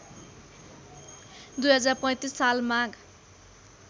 २०३५ साल माघ